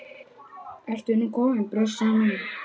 Ertu nú komin, brussan mín?